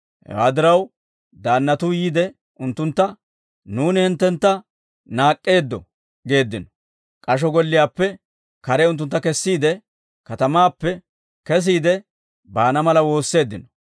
Hewaa diraw, daannatuu yiide unttuntta, «Nuuni hinttentta naak'k'eeddo» geeddino. K'asho golliyaappe kare unttuntta kessiide, katamaappe kesiide baana mala woosseeddino.